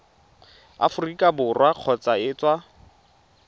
aforika borwa kgotsa go tswa